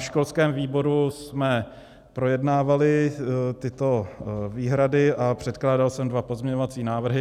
Na školském výboru jsme projednávali tyto výhrady a předkládal jsem dva pozměňovací návrhy.